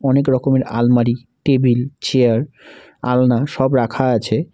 অনেক রকমের আলমারি টেবিল চেয়ার আলনা সব রাখা আছে।